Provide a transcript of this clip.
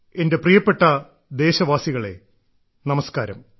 എന്റെ പ്രിയപ്പെട്ട ദേശവാസികളെ നമസ്കാരം